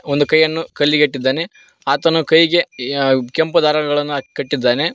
ಒಂದು ಕೈಯನು ಕಲ್ಲಿಗೆ ಇಟ್ಟಿದ್ದಾನೆ ಆತನು ಕೈಗೆ ಕೆಂಪು ದಾರಗಳನ್ನು ಕಟ್ಟಿದ್ದಾನೆ.